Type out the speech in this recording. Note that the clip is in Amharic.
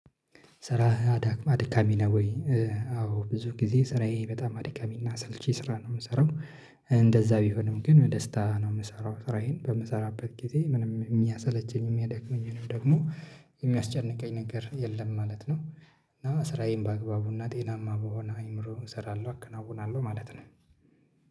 ስራህ አድካሚ ነው ወይ? አዎ ብዙ ጊዜ ስራዬ በጣም አድካሚና አሰልቺ ስራ ነው የምሰራው፤ ቢሆንም ግን በደስታ ነው የምሰራው፤ ስራዬን በምሰራበት ጊዜ ምንም የሚያሰለቸኝ የሚያዳክመኝ ደግሞ የሚያስጨንቀኝ ነገር የለም ማለት ነው እና ስራዬን በአግባቡና ጤናማ በሆነ አይምሮው እሰራለሁ አከናውናለሁ ማለት ነው።